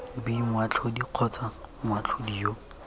b moatlhodi kgotsa moatlhodi yo